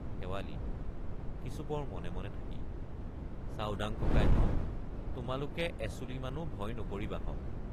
শেৱালি—কিছুপৰ মনে মনে থাকি চাওডাং ককাইহঁত তোমালোকে এচুলিমানো ভয় নকৰিবাহঁক।